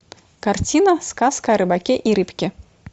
картина сказка о рыбаке и рыбке